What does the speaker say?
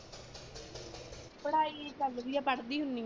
ਪੜ੍ਹਾਈ ਚਲਦੀ ਆ ਪੜ੍ਹਦੀ ਹੁੰਨੀ ਆ।